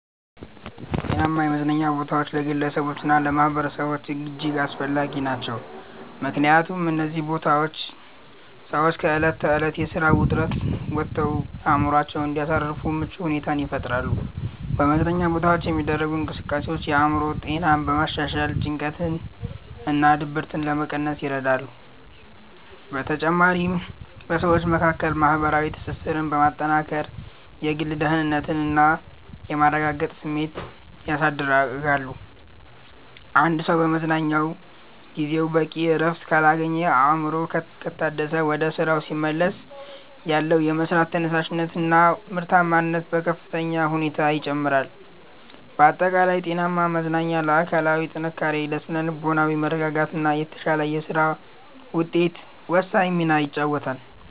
ጤናማ የመዝናኛ ቦታዎች ለግለሰቦችና ለማኅበረሰቦች እጅግ አስፈላጊ ናቸው። ምክንያቱም እነዚህ ቦታዎች ሰዎች ከዕለት ተዕለት የሥራ ውጥረት ወጥተው አእምሮአቸውን እንዲያሳርፉ ምቹ ሁኔታን ይፈጥራሉ። በመዝናኛ ቦታዎች የሚደረጉ እንቅስቃሴዎች የአእምሮ ጤናን በማሻሻል ጭንቀትንና ድብርትን ለመቀነስ ይረዳሉ። በተጨማሪም በሰዎች መካከል ማህበራዊ ትስስርን በማጠናከር የግል ደህንነትና የመረጋጋት ስሜትን ያሳድጋሉ። አንድ ሰው በመዝናኛ ጊዜው በቂ እረፍት ካገኘና አእምሮው ከታደሰ፣ ወደ ሥራው ሲመለስ ያለው የመሥራት ተነሳሽነትና ምርታማነት በከፍተኛ ሁኔታ ይጨምራል። ባጠቃላይ ጤናማ መዝናኛ ለአካላዊ ጥንካሬ፣ ለሥነ-ልቦናዊ መረጋጋትና ለተሻለ የሥራ ውጤት ወሳኝ ሚና ይጫወታል።